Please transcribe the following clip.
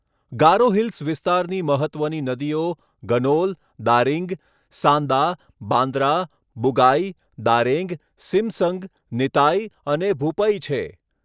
ગારો hills વિસ્તારની મહત્ત્વની નદીઓ ગનોલ, દારિંગ, સાન્દા, બાંદ્રા, બુગાઈ, દારેંગ, સિમસંગ, નિતાઈ અને ભૂપઇ છે.